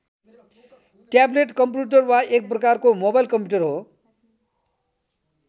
Tablet computer वा एक प्रकारको मोबाइल कम्प्युटर हो।